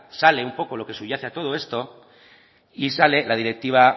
sale un poco lo que subyace de todo esto y sale la directiva